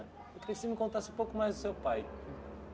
Queria que você me contasse um pouco mais do seu pai.